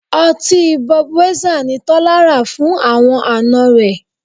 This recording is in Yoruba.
Ọtí Budweisser ni Tọ́lá rà fún àwọn àna rẹ̀